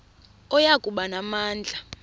oya kuba namandla